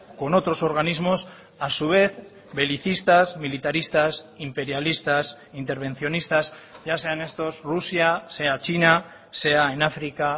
con otros organismos a su vez belicistas militaristas imperialistas intervencionistas ya sean estos rusia sea china sea en áfrica